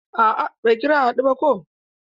A'a bai kira a hadu ko ba.